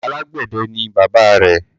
Alágbẹ̀dẹ ni bàbáa rẹ̀.